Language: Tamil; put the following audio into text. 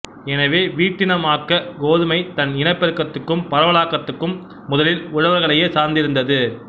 எனவே வீட்டினமாக்கக் கோதுமை தன் இனப்பெருக்கத்துக்கும் பரவலாக்கத்துக்கும் முதலில் உழவர்களையே சார்ந்திருந்தது